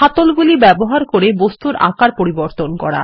হাতল গুলি ব্যবহার করে বস্তুর আকার পরিবর্তন করা